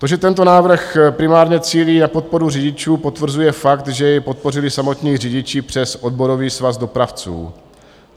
To, že tento návrh primárně cílí na podporu řidičů, potvrzuje fakt, že jej podpořili samotní řidiči přes Odborový svaz dopravců.